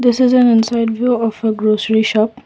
this is an inside view of a grocery shop.